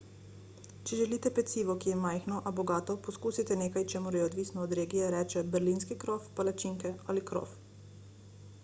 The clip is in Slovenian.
če želite pecivo ki je majhno a bogato poskusite nekaj čemur se odvisno od regije reče berlinski krof palačinke ali krof